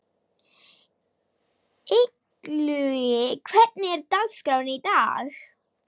Illugi, hvernig er dagskráin í dag?